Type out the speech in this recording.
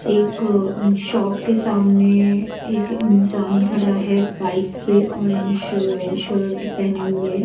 एक शॉप के सामने एक इंसान खड़ा है बाइक पे ऑरेंज श शर्ट पेहने हुए।